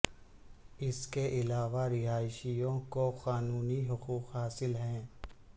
اس کے علاوہ رہائشیوں کو قانونی حقوق حاصل ہیں